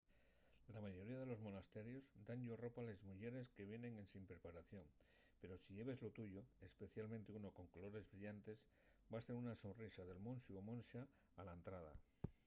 la mayoría de los monasterios dan-yos ropa a les muyeres que vienen ensin preparación pero si lleves lo tuyo especialmente uno con colores brillantes vas tener una sorrisa del monxu o monxa a la entrada